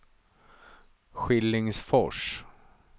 Skillingsfors